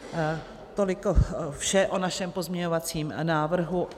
Toliko vše o našem pozměňovacím návrhu.